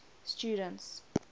students